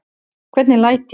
Hvernig læt ég?